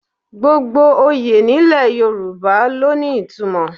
Gbogbo oyè nílẹ̀ Yorùbá ló ní ìtumọ̀